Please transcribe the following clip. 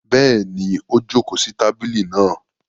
Bẹ́ẹ̀ni, ó jókòó sí tábìlì náa.